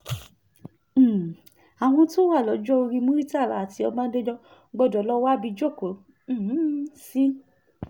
um àwọn tó wà lọ́jọ́-orí muritàlá àti ọbadànjọ gbọ́dọ̀ lọ́ọ́ wábi jókòó um sí